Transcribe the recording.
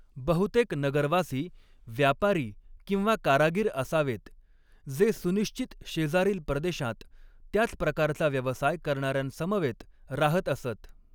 बहुतेक नगरवासी व्यापारी किंवा कारागीर असावेत, जे सुनिश्चित शेजारील प्रदेशांत त्याच प्रकारचा व्यवसाय करणाऱ्यांसमवेत राहत असत.